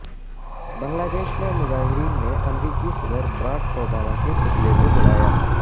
بنگلہ دیش میں مظاہرین نے امریکی صدر براک اوباما کے پتلے کو جلایا